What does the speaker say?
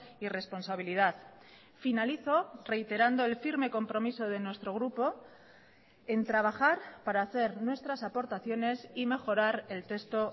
y responsabilidad finalizo reiterando el firme compromiso de nuestro grupo en trabajar para hacer nuestras aportaciones y mejorar el texto